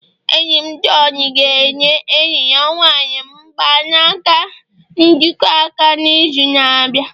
enyi m John ga-enye enyi ya nwanyị mgbanaka njikọ aka n'izu na-abịa